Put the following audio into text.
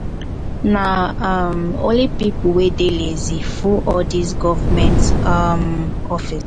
na um only pipo wey dey lazy full all dese government um office.